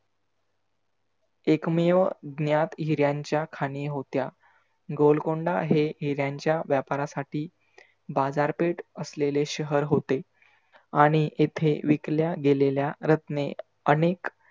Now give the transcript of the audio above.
एकमेव न्यात हिर्‍यांच्या खाणी होत्या. गोलकोंडा हे हिर्‍यांच्या व्यापारासाठी बाजारपेठ आसलेले शहर होते. आणि येथे विकल्या गेलेल्या रत्ने आनेक